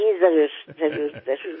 जी जरुर जरुर जरुर